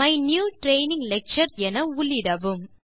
my new training lecture என உள்ளிடவும்